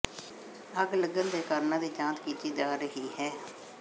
ਅੱਗ ਲੱਗਣ ਦੇ ਕਾਰਨਾਂ ਦੀ ਜਾਂਚ ਕੀਤੀ ਜਾ ਰਹੀ ਹੈ